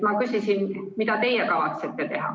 Ma küsisin, mida teie kavatsete teha.